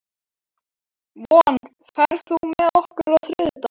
Von, ferð þú með okkur á þriðjudaginn?